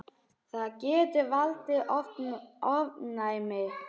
Það getur valdið ofnæmi.